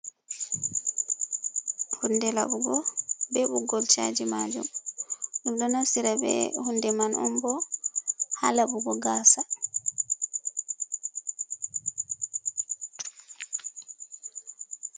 Hunde laɓugo, be ɓoggol chaaji maajum. Ɗum ɗo naftira be hunde man on bo, haa laɓugo gaasa.